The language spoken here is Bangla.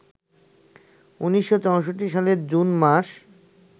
১৯৬৪ সালের জুন মাস